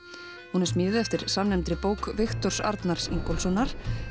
hún er smíðuð eftir samnefndri bók Viktors Arnars Ingólfssonar